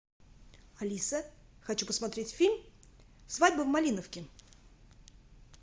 алиса хочу посмотреть фильм свадьба в малиновке